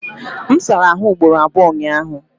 M sara ahụ ugboro abụọ ụnyaahụ.